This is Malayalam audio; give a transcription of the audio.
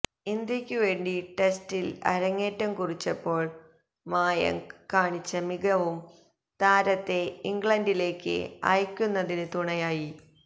ഇന്ത്യയ്ക്ക് വേണ്ടി ടെസ്റ്റില് അരങ്ങേറ്റം കുറിച്ചപ്പോള് മായങ്ക് കാണിച്ച മികവും താരത്തെ ഇംഗ്ലണ്ടിലേക്ക് അയക്കുന്നതിന് തുണയായി